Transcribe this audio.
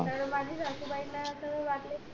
तर माझे सासू बाई ला त वाटल